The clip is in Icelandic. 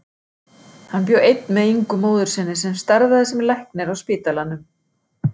Hann bjó einn með Ingu móður sinni sem starfaði sem læknir á spítalanum.